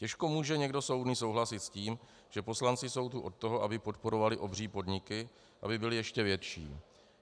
Těžko může někdo soudný souhlasit s tím, že poslanci jsou tu od toho, aby podporovali obří podniky, aby byly ještě větší.